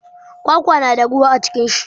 Kwakwa na da ruwa a cikin shi.